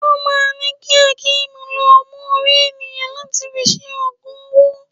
Wọ́n máà ńi ki Hakeem lọ mú orí ènìyàn láti fi ṣe ogun owó.